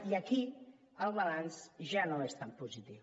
i aquí el balanç ja no és tan positiu